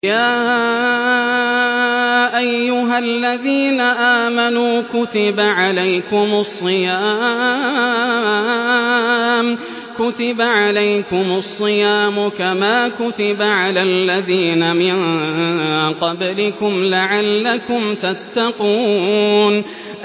يَا أَيُّهَا الَّذِينَ آمَنُوا كُتِبَ عَلَيْكُمُ الصِّيَامُ كَمَا كُتِبَ عَلَى الَّذِينَ مِن قَبْلِكُمْ لَعَلَّكُمْ تَتَّقُونَ